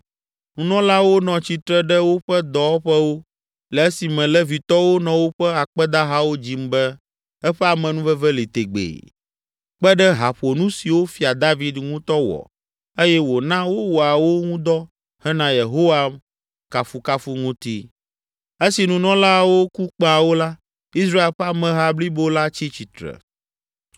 Nunɔlawo nɔ tsitre ɖe woƒe dɔwɔƒewo le esime Levitɔwo nɔ woƒe akpedahawo dzim be, “Eƒe amenuveve li tegbee” kpe ɖe haƒonu siwo Fia David ŋutɔ wɔ eye wòna wowɔa wo ŋu dɔ hena Yehowa kafukafu ŋuti. Esi nunɔlaawo ku kpẽawo la, Israel ƒe ameha blibo la tsi tsitre.